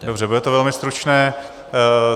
Dobře, bude to velmi stručné.